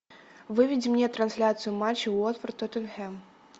выведи мне трансляцию матча уотфорд тоттенхэм